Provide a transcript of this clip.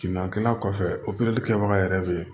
Kilan kilan kɔfɛ opereli kɛbaga yɛrɛ bɛ ye